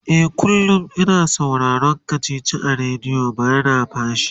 e kullum. ina sauraron kachichi a radio bana fashi